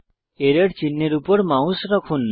error চিহ্নের উপর mouse রাখুন